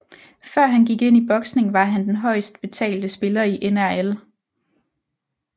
Før han gik ind i boksning var han den højest betalte spiller i NRL